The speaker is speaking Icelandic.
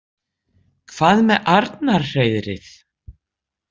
Hvað með Arnarhreiðrið?